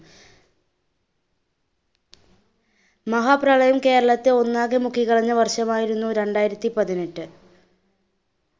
മഹാപ്രളയം കേരളത്തെ ഒന്നാകെ മുക്കി കളഞ്ഞ വർഷമായിരുന്നു രണ്ടായിരത്തി പതിനെട്ട്.